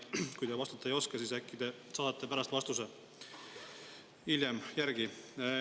Kui te vastata ei oska, siis äkki te saadate pärast vastuse hiljem järele.